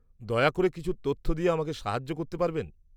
-দয়া করে কিছু তথ্য দিয়ে আমাকে সাহায্য করতে পারবেন?